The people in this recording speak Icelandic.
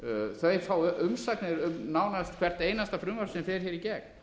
þau fá umsagnir um nánast hvert einasta frumvarp sem fer hér í gegn